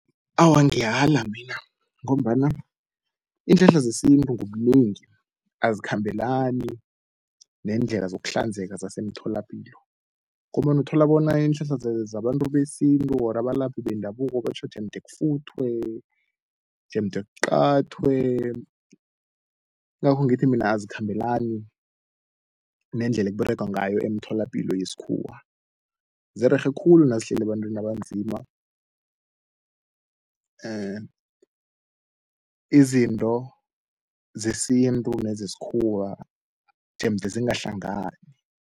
Awa, ngiyala mina ngombana iinhlahla zesintu ngobunengi azikhambelani neendlela zokuhlanzeka zasemtholapilo, ngombana uthola bona iinhlahla zabantu besintu or abalaphi bendabuko batjho jemde kufuthwe, jemde kuqathwe. Yingakho ngithi mina azikhambelani nendlela ekUberegwa ngayo emtholapilo yesikhuwa. Zirerhe khulu nazihleli ebantwini abanzima, izinto zesintu nezesikhuwa jemde zingahlangani.